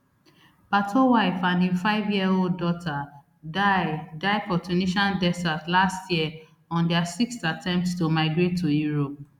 pato wife and im fiveyearold daughter die die for tunisian desert last year on dia sixth attempt to migrate to europe